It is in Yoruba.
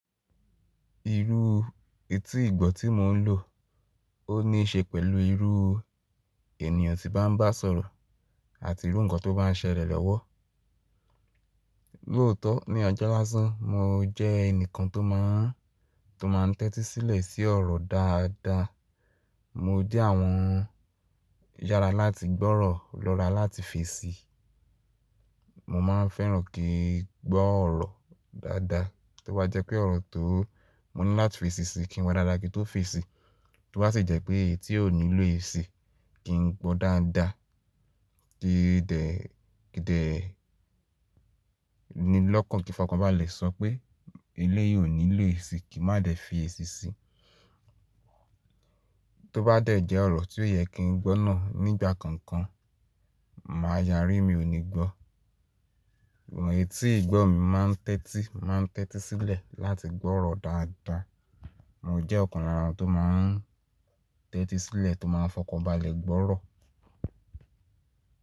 Irú etí ìgbọ́ tí mò ń lò, ó ní ṣe pẹ̀lú irú ènìyàn tí bá ń bá sọ̀rọ̀ àti irú nǹkan tó bá ń ṣẹlẹ̀ lọ́wọ́. Lóòótọ́ ní ọjọ́ lásán, mo jẹ́ ẹnìkan tó máa ń, tó máa ń tẹ́tí sílẹ̀ sí ọ̀rọ̀ dáadáa. Mo jẹ́ àwọn yára láti gbọ́ ọ̀rọ̀, lọ́ra láti fèsì. Mo máa ń fẹ́ràn kí n gbọ́ ọ̀rọ̀ dáadáa, to bá jẹ́ pé ọ̀rọ̀ tó mo ní láti fèsì si kí mo dáadáa kí n tó fèsì. To bá sì jẹ́ pé eyití ò nílò èsì, kí n gbọ́ dáadáa, kí dẹ̀, kí dẹ̀ ni lọ́kàn kí fọkànbalẹ̀ sọ pé elé yìí ò nílò èsì, kí má dẹ̀ fi èsì sí i. Tí ó bá dẹ̀ jẹ́ ọ̀rọ̀ tí ó yẹ kí n gbọ́ náà nígbà kankan, màá yari mí ò ní gbọ́. Ìwọ̀n etí ìgbọ́ mi máa ń tẹ́tí, máa ń tẹ́tí sílẹ̀ láti gbọ́ ọ̀rọ̀ dáadáa. Mo jẹ́ ọ̀kan lára àwọn tó máa ń tẹ́tí sílẹ̀ tó máa ń fọkànbalẹ̀ gbọ́ ọ̀rọ̀.